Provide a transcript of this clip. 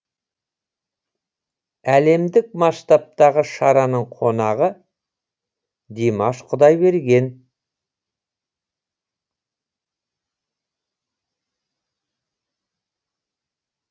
әлемдік масштабтағы шараның қонағы димаш құдайберген